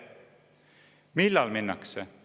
Millal minnakse?